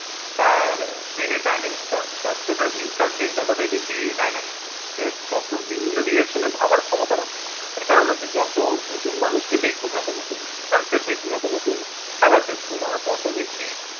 তার ব্রেইনে ডাইনামিক তার ব্রেন ততটাই বেশি ডাইনামিক। সে তত বিভিন্ন ডাইরেকশন এ ভাবার ক্ষমতা রাখে। তার কারণ হচ্ছে যত নতুন মানুষকে দেখবো, যত নতুন কালচার দেখবো, যত নতুন খাবার টেস্ট করবো, আমার ততো বেশি